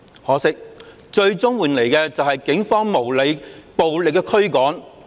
可惜，最終換來的是警方無理、暴力的驅趕。